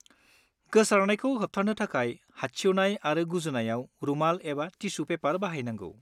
गोसारनायखौ होबथानो थाखाय हादसिउनाय आरो गुजुनायाव रुमाल एबा टिसु पेपार बाहायनांगौ।